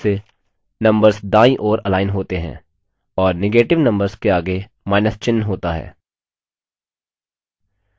default रूप से numbers दायीं ओर अलाइन होते हैं और negative numbers के आगे माइनस चिन्ह होता है